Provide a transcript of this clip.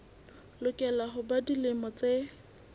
lokela ho ba dilemo tse